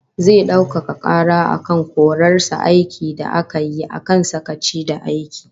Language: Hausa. Zai daukaka kara akan korar sa aiki da aka yi akan sakaci da aiki